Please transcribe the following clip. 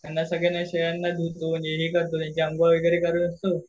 यांना सगळ्यांना शेळ्यांना धुतों वैगेरे त्यांची अंघोळ वगैरे करवतो.